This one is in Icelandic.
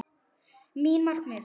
Mín markmið?